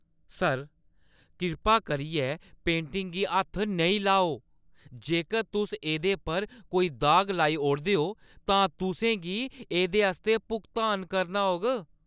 Sir, कृपा करियै पेंटिंगें गी हत्थ नेईं लाओ! जेकर तुस एह्दे पर कोई दाग लाई ओड़दे ओ, तां तुसें गी एह्दे आस्तै भुगतान करना होग।